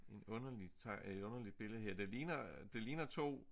En underlig et underligt billede her det ligner øh det ligner 2